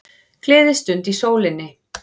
Gleðistund í sólinni